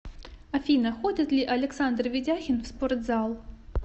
афина ходит ли александр ведяхин в спортзал